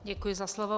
Děkuji za slovo.